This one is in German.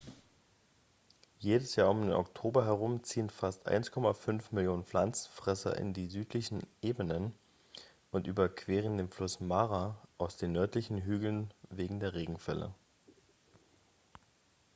jedes jahr um den oktober herum ziehen fast 1,5 millionen pflanzenfresser in die südlichen ebenen und überqueren den fluss mara aus den nördlichen hügeln wegen der regenfälle